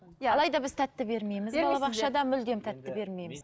иә алайда біз тәтті бермейміз балабақшада мүлдем тәтті бермейміз